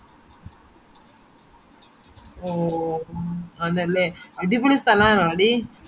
ഓ ആണല്ലേ അടിപൊളി സ്ഥലാണോടി